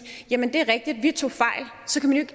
jamen det er rigtigt vi tog fejl